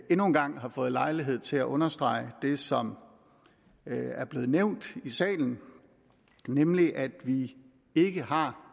endnu en gang har fået lejlighed til at understrege det som er blevet nævnt i salen nemlig at vi ikke har